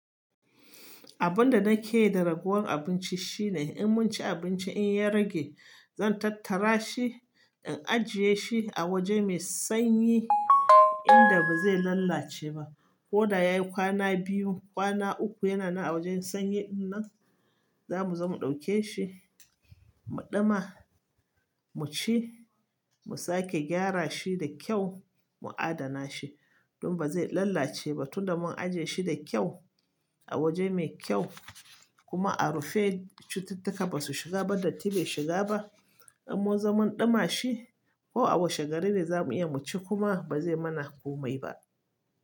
Abin da nake yi da ragowar abinci shine in mun ci abinci in ya rage, zan tattara shi in ajiye shi a waje mai sanyi inda ba zai lalace ba. Ko da ya yi kwana biyu, kwana uku yana nan a wajen sanyi nan, zamu zo mu ɗauke shi mu ɗima, mu ci, mu sake gyara shi da kyau mu adana shi don ba zai lalace ba tunda mun ajiye shi da kyau a waje mai kyau kuma a rufe. Cututtuka ba su shiga ba, datti bai shiga ba. Idan mun zaman ɗima shi ko a wasu garin ne za mu iya mu ci kuma ba zai mana komai ba.